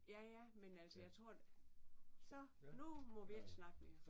Ja ja men altså jeg tror så nu må vi ikke snakke mere